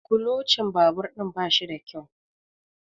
kulocin babur ɗin ba shi da kyau